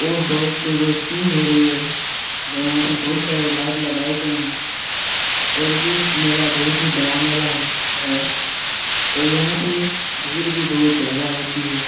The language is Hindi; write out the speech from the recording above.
और बहुत रौशनी हो रही है और यहाँ पे बहुत सारे लाइट लगाए गए हैं और ये मेला बहुत ही बड़ा मेला है और यहाँ पे भीड़ भी बहुत ज्यादा होती है।